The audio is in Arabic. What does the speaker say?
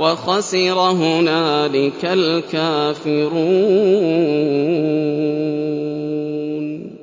وَخَسِرَ هُنَالِكَ الْكَافِرُونَ